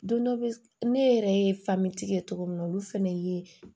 Don dɔ bɛ ne yɛrɛ ye ye cogo min na olu fɛnɛ ye